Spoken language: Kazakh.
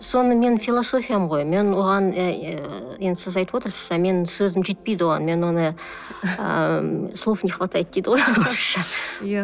соны менің философиям ғой мен оған ыыы енді сіз айтып отырсыз а мен сөзім жетпейді оған мен оны ыыы слов не хватает дейді ғой орысша иә